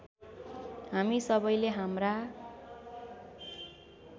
हामी सबैले हाम्रा